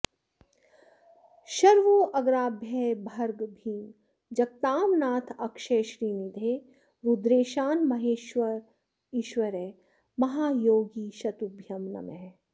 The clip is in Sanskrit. शर्वोग्राभय भर्ग भीम जगतां नाथाक्षय श्रीनिधे रुद्रेशान महेश्वरेश्वर महायोगीशतुभ्यं नमः